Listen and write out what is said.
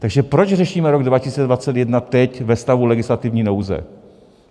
Takže proč řešíme rok 2021 teď ve stavu legislativní nouze?